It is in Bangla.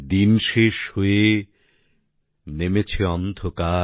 দিন শেষ হয়ে নেমেছে অন্ধকার